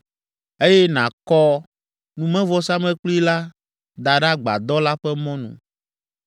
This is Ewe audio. eye nàkɔ numevɔsamlekpui la da ɖe agbadɔ la ƒe mɔnu.